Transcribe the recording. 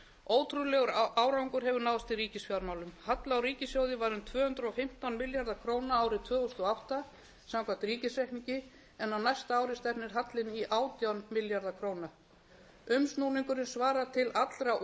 ótrúlegur árangur hefur náðst í ríkisfjármálum halli á ríkissjóði var um tvö hundruð og fimmtán milljarðar króna árið tvö þúsund og átta samkvæmt ríkisreikningi en á næsta ári stefnir hallinn í átján milljarða króna umsnúningurinn svarar til allra